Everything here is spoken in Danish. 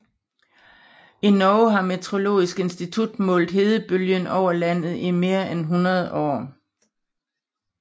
I Norge har Meteorologisk institutt målt nedbøren over landet i mere end 100 år